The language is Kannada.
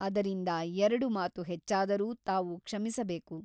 ಅದರಿಂದ ಎರಡು ಮಾತು ಹೆಚ್ಚಾದರೂ ತಾವು ಕ್ಷಮಿಸಬೇಕು.